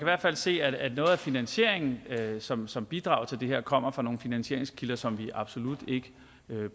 hvert fald se at noget af finansieringen som som bidrager til det her kommer fra nogle finansieringskilder som vi absolut ikke